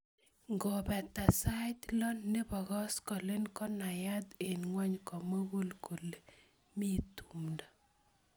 Ngopata sait lo nebo kosgoleny konayat eng ngwony komugul kole mi tuindo